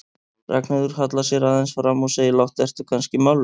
Ragnheiður hallar sér aðeins fram og segir lágt, ertu kannski mállaus?